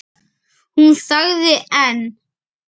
Hún þagði en